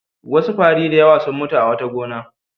Wasu fari da yawa sun mutu a wata gona.